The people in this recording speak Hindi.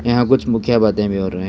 यहां कुछ मुख्य बातें भी हो रहे--